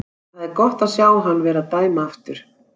Það er gott að sjá hann vera að dæma aftur.